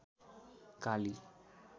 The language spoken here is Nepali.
काली